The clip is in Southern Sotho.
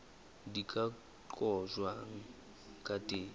di ka qojwang ka teng